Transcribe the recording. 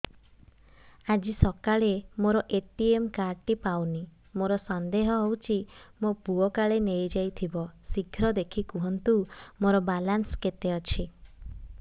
ଆଜି ସକାଳେ ମୋର ଏ.ଟି.ଏମ୍ କାର୍ଡ ଟି ପାଉନି ମୋର ସନ୍ଦେହ ହଉଚି ମୋ ପୁଅ କାଳେ ନେଇଯାଇଥିବ ଶୀଘ୍ର ଦେଖି କୁହନ୍ତୁ ମୋର ବାଲାନ୍ସ କେତେ ଅଛି